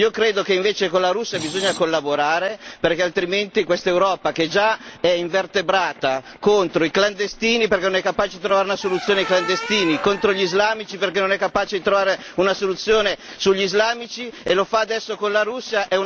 Io credo che invece con la Russia occorra collaborare, perché altrimenti questa Europa che già è invertebrata contro i clandestini, perché non è capace di trovare una soluzione ai clandestini, contro gli islamici, perché non è capace di trovare una soluzione sugli islamici, e lo fa adesso con la Russia.